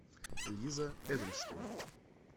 лиза эдельштейн